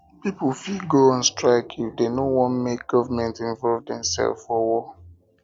pipo fit go on strike if dem no want make government involve themselves for war